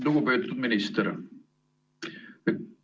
Lugupeetud minister!